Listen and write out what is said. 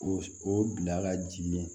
O o bila ka jigin